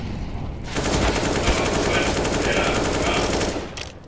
nga vha vho badela nga